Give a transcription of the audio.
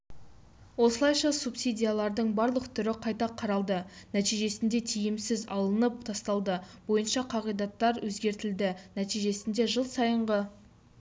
осылайша субсидиялардың барлық түрі қайта қаралды нәтижесінде тиімсіз алынып тасталды бойынша қағидаттар өзгертілді нәтижесінде жыл сайынғы